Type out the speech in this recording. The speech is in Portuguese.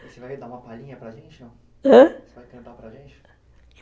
Você vai dar uma palhinha para a gente, não? Ãh? Você vai cantar para a gente?